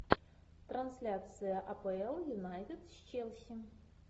трансляция апл юнайтед с челси